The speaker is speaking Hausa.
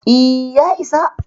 E, ya isa.